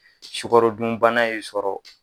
Sukaro dunbana ye sɔrɔ.